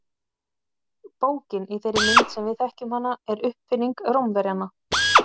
Bókin í þeirri mynd sem við þekkjum hana er uppfinning Rómverjanna.